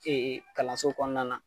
Ee kalanso kɔnɔna na